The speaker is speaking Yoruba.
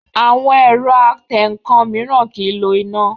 Àwọn ẹ̀rọ atẹǹkan mìíràn kìí lo iná